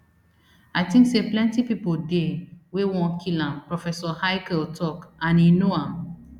i think say plenty pipo dey wey wan kill am professor haykel tok and e know am